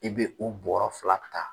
I bɛ o bɔɔrɔ fila ta.